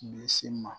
Bɛ se ma